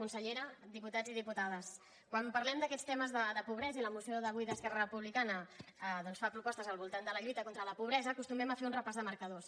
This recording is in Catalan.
consellera diputats i diputades quan parlem d’aquests temes de pobresa i la moció d’avui d’esquerra republicana doncs fa propostes al voltant de la lluita contra la pobresa acostumem a fer un repàs de marcadors